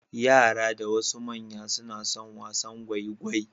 Yara da wasu manya ma suna son wasan gwaigwai.